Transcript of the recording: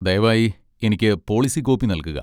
ദയവായി എനിക്ക് policy copy നൽകുക.